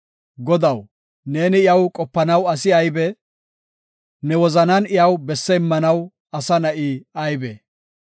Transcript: Godaw, neeni iyaw qopanaw asi aybee? Ne wozanan iyaw besse immanaw asa na7i aybee?